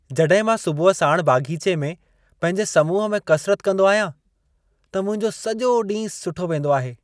जॾहिं मां सुबुह साण बाग़ीचे में पंहिंजे समूह में कसरत कंदो आहियां, त मुंहिंजो सॼो ॾींहं सुठो वेंदो आहे।